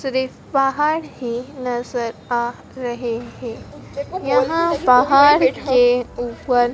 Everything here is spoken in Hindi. सिर्फ पहाड़ ही नजर आ रहे हैं यहां पहाड़ के ऊपर--